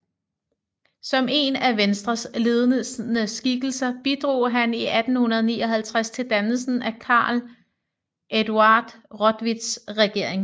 Som en af Venstres ledende skikkelser bidrog han i 1859 til dannelsen af Carl Eduard Rotwitts regering